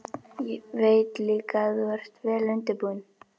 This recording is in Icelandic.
Veit líka að þú ert vel undirbúinn.